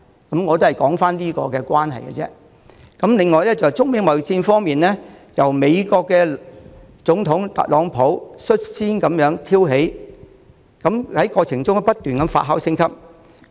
中美貿易戰方面，這場貿易戰是美國總統特朗普率先挑起，過程中，情況不斷發酵升級。